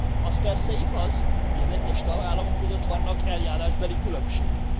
Az persze igaz, hogy az egyes tagállamok között vannak eljárásbeli különbségek.